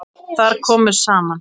Þar komu saman